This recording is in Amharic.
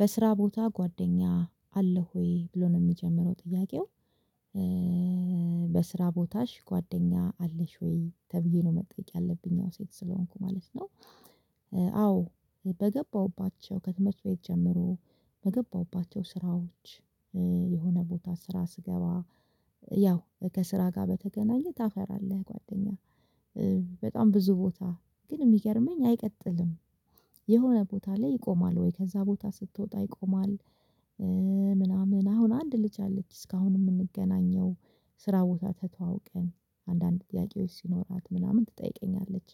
በስራ ቦታ ጓደኛ አለህ ወይ ብሎ ነው የሚጀምረው ጥያቄው? በስራ ቦታሽ ጓደኛ አለሽ ወይ ተብዬ ነው መጠየቅ ያለብኝ ያው ሴት ስለሆንኩ ማለት ነው። አዎ በገባሁባቸው ከትምህርት ቤት ጀምሮ በገባሁባቸው ስራዎች። የሆነ ቦታ ስራ ስገባ ያው ከስራ ጋር በተገናኘ ታፈራለህ ጓደኛ። በጣም ብዙ ቦታ ግን የሚገርመኝ አይቀጥልም። የሆነ ቦታ ላይ ይቆማል ወይ ከዛ ቦታ ስትወጣ ይቆማል። ምናምን አሁን አንድ ልጅ አለች እስካሁን የምንገናኘው። ስራ ቦታ ተተዋውቀን አንዳንድ ጥያቄዎች ሲኖራት ምናምን ትጠይቀኛለች።